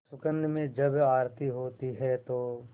सुगंध में जब आरती होती है तो